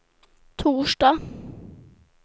torsdag